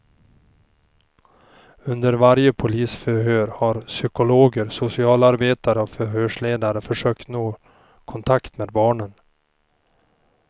Under varje polisförhör har psykologer, socialarbetare och förhörsledaren försökt nå kontakt med barnen.